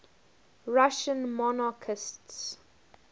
russian monarchists